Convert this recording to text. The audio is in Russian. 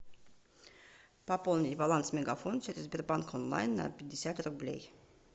пополнить баланс мегафон через сбербанк онлайн на пятьдесят рублей